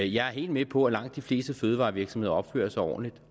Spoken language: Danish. jeg er helt med på at langt de fleste fødevarevirksomheder opfører sig ordentligt